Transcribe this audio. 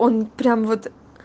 он прям вот